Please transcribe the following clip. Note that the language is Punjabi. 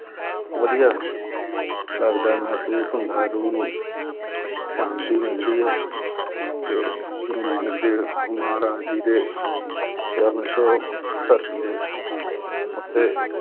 ਵਧੀਆ ਲੱਗਦਾ ਹੈ ਮਹਿਸੂਸ ਹੁੰਦਾ ਹੈ ਰੂਹ ਨੂੰ ਸ਼ਾਂਤੀ ਮਿਲਦੀ ਹੈ ਕਿ ਗੁਰੂ ਨਾਨਕ ਦੇਵ ਮਹਾਰਾਜ ਜੀ ਦੇ ਚਰਨ ਛੂਹ ਧਰਤੀ ਦੇ ਉੱਤੇ